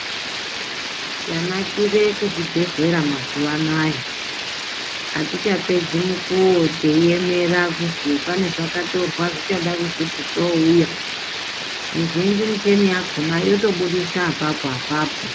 Chanakire kuzvibhedhlera mazuvanaya, atichapedzi mukuwo teyiyemera kuzvi panezwakatorwa zvichada kuti zvibve zouya. Mizhinji michini yakhona yotobudisa apapo, apapo.